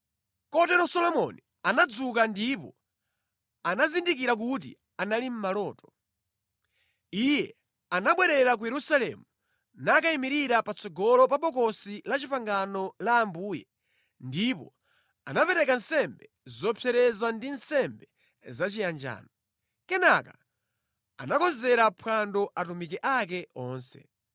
Kotero Solomoni anadzuka ndipo anazindikira kuti anali maloto. Iye anabwerera ku Yerusalemu nakayimirira patsogolo pa Bokosi la Chipangano la Ambuye ndipo anapereka nsembe zopsereza ndi nsembe zachiyanjano. Kenaka anakonzera phwando atumiki ake onse.